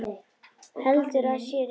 Heldur að sé rétt.